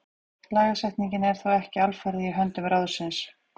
Lagasetningin er þó ekki alfarið í höndum ráðsins.